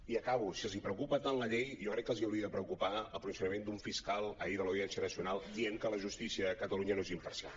i acabo si els preocupa tant la llei jo crec que els hauria de preocupar el posicionament d’un fiscal ahir de l’audiència nacional dient que la justícia a catalunya no és imparcial